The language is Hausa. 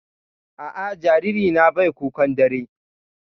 A'a, jaririna bai kukan dare.